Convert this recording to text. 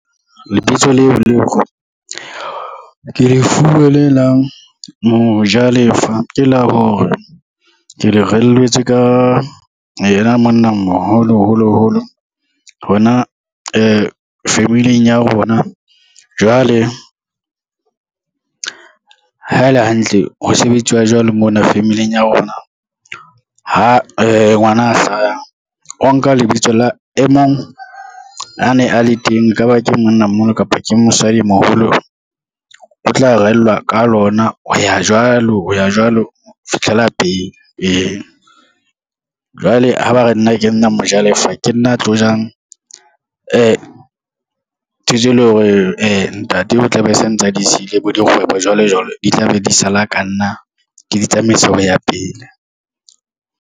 Lebitso leo lore ke lefuwe le la Mojalefa, ke la bona ke le reelletsweng ka yena monna moholo holo holo hona family-ng ya rona, jwale ha e le hantle ho sebetsiwa jwalo mona family-ng ya rona, ha ngwana a hlaya o nka lebitso la e mong a ne a le teng, e ka ba ke monnamoholo kapa ke mosadimoholo o tla rehellwa ka lona ho ya jwalo, o ya jwalo ho fitlhela pele, ee. Jwale ha ba re nna ke nna Mojalefa, ke nna a tlo jang ntho tseo e lore ntate o tla be se ntse a di siile bo dikgwebo jwale jwale di tlabe di sala ka nna ke di tsamaisa ho ya pele.